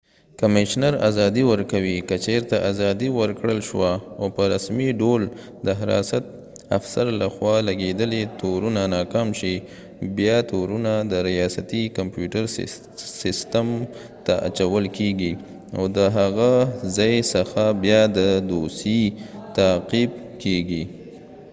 کمیشنر ازادي ورکوي که چېرته ازادي ورکړل شوه او په رسمی ډول د حراست افسر له خوا لږیدلی تو رونه ناکام شي بیا تورونه د ریاستی کمپیوټر سیستم ته اچول کېږی او دهغه ځای څخه بیا د دوسیې تعقیب کېږی